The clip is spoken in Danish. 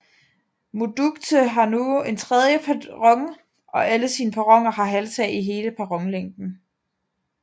Mudchute har nu en tredje perron og alle sine perroner har halvtag i hele perronlængden